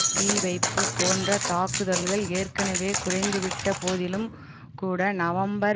தீவைப்பு போன்ற தாக்குதல்கள் ஏற்கனவே குறைந்துவிட்ட போதிலும் கூட நவம்பர்